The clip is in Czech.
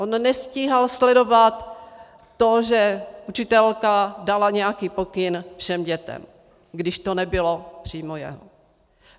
On nestíhal sledovat to, že učitelka dala nějaký pokyn všem dětem, když to nebylo přímo jeho.